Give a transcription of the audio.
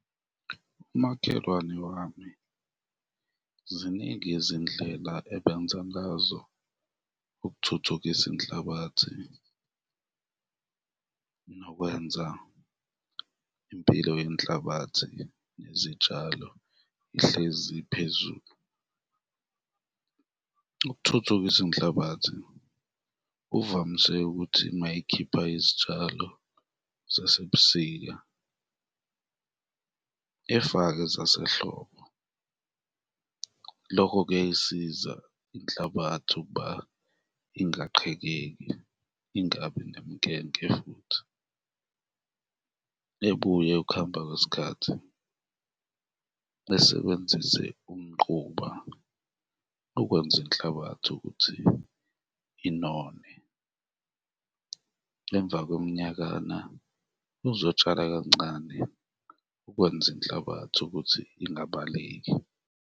Umakhelwane wami ziningi izindlela ebenza ngazo ukuthuthukisa inhlabathi nokwenza impilo yenhlabathi nezitshalo ihlezi iphezulu. Ukuthuthukisa inhlabathi, uvamise ukuthi mayekhipha izitshalo zasebusika efake zasehlobo, lokho kuyayisiza inhlabathi ukuba ingaqhekekeki, ingabi nemikenke futhi, ebuye ukuhamba kwesikhathi esebenzise umquba ukwenza inhlabathi ukuthi inone, emva kweminyakana uzotshala kancane ukwenza inhlabathi ukuthi ingabaleki.